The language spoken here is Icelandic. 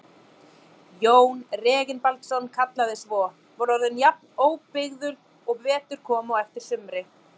Jón Reginbaldsson kallaði svo, var orðin jafn óbrigðul og vetur kom á eftir sumri.